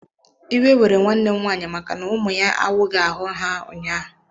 Iwe were nwanne m nwanyị maka na ụmụ ya awughi ahụ ha ụnyaahụ.